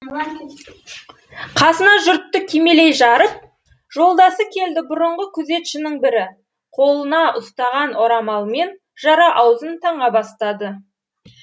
қасына жұртты кимелей жарып жолдасы келді бұрынғы күзетшінің бірі қолына ұстаған орамалмен жара аузын таңа бастады